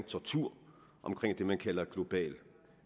tortur om det man kalder global